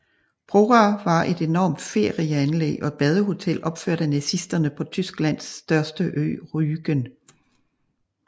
Prora var et enormt ferieanlæg og badehotel opført af nazisterne på Tysklands største ø Rügen